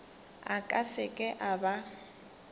a ka seke a ba